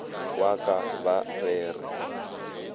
wa ka ba re re